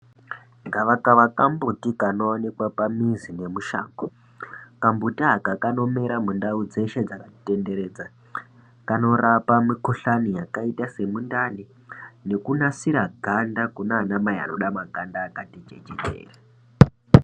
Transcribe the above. Gava kava ka mbuti kano onekwa pa mizi ne mushango kambuti aka kanomera mu ndau dzeshe dzakati tenderedza kanorapa mi kuhlani yakaita se mundani neku nasira ganda kune ana mai anoda makanda akati chechetere.